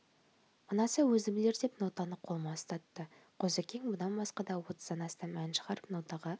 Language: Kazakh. ұнаса өзі білер деп нотаны қолыма ұстатты қозыкең бұдан басқа да отыздан астам ән шығарып нотаға